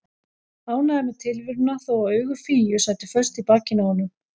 Ánægður með tilveruna þó að augu Fíu sætu föst í bakinu á honum.